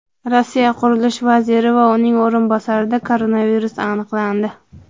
Rossiya qurilish vaziri va uning o‘rinbosarida koronavirus aniqlandi.